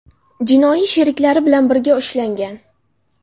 jinoiy sheriklari bilan birga ushlangan.